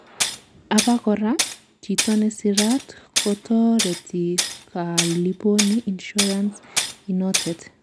abakora, chito nesirat kotoreti koliponi insurance inotet